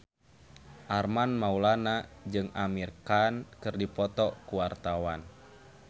Armand Maulana jeung Amir Khan keur dipoto ku wartawan